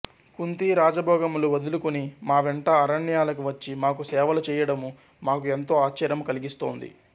కుంతి రాజభోగములు వదులుకుని మా వెంట అరణ్యాలకు వచ్చి మాకు సేవలు చెయ్యడము మాకు ఎంతో ఆశ్చర్యము కలిగిస్తోంది